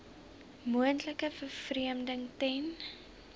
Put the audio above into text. moontlike vervreemding ten